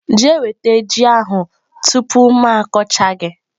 Jee nweta yam ahu tupu m akọcha gi!.